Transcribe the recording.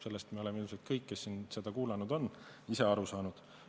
Sellest me oleme ilmselt kõik, kes siin seda kuulanud on, aru saanud.